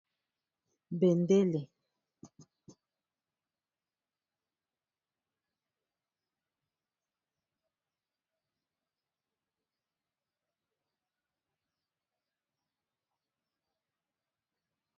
bendele bendele bendele bendele.